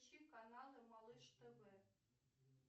включи каналы малыш тв